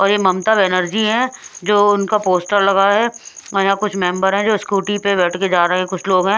और यह ममता बेनर्जी है जो उनका पोस्टर लगा है और यहां कुछ मेंबर हैं जो स्कूटी पर बैठ के जा रहे हैं कुछ लोग हैं।